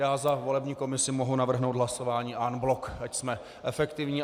Já za volební komisi mohu navrhnout hlasování en bloc, ať jsme efektivní.